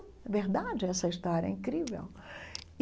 É verdade essa história, é incrível.